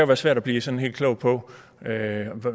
være svært at blive sådan helt klog på